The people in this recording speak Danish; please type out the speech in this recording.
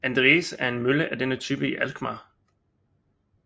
Andries en mølle af denne type i Alkmaar